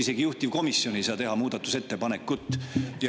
Isegi juhtivkomisjon ei saa muudatusettepanekut teha.